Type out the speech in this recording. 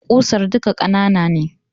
Ƙusar duka ƙanana ne